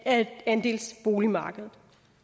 af andelsboligmarkedet